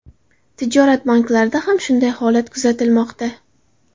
Tijorat banklarida ham shunday holat kuzatilmoqda .